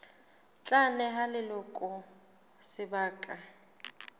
tla neha ba leloko sebaka